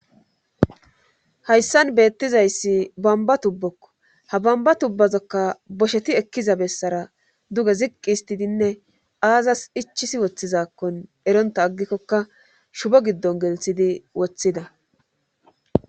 hayssan beettizayssi bamba tubbokko ha bamba tubbazokka bosheti ekkiza bessara duge ziqqi histidinne aazas ichisi woththizakkon eronta aggikkokka shubo giddon gelthidi woththida